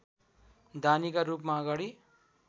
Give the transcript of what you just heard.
दानीका रूपमा अगाडि